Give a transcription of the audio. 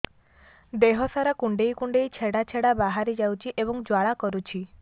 ଦେହ ସାରା କୁଣ୍ଡେଇ କୁଣ୍ଡେଇ ଛେଡ଼ା ଛେଡ଼ା ବାହାରି ଯାଉଛି ଏବଂ ଜ୍ୱାଳା କରୁଛି